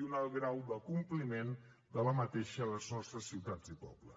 i un alt grau de compliment d’aquesta a les nostres ciutats i pobles